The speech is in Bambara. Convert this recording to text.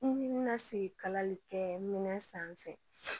N bɛna sigi kalali kɛ minɛn sanfɛ